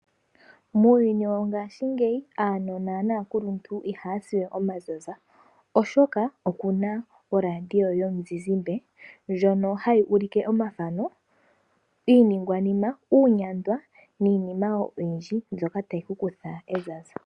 Muuyuni wongaashingeyi aanona naakulu ntu ihaya siwe omazaza, oshoka okuna oradio yo muzizimba ndjono hayi ulike omathano, iiningwanima, uunyandwa, niinima woo oyindji mbyoka tayi ku kutha ezaza.